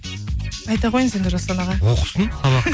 айта қойыңыз енді жасұлан аға оқысын сабақ